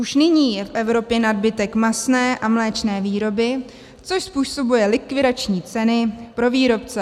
Už nyní je v Evropě nadbytek masné a mléčné výroby, což způsobuje likvidační ceny pro výrobce.